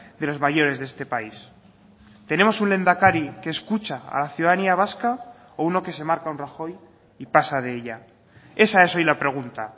de los mayores de este país tenemos un lehendakari que escucha a la ciudadanía vasca o uno que se marca un rajoy y pasa de ella esa es hoy la pregunta